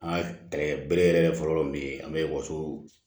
An ka bere yɛrɛ fɔlɔ min ye an be wasoo